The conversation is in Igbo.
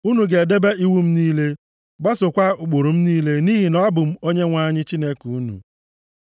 Unu ga-edebe iwu m niile, gbasookwa ụkpụrụ m niile nʼihi na abụ m Onyenwe anyị Chineke unu.